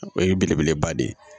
O ye belebeleba de ye